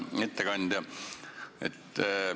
Hea ettekandja!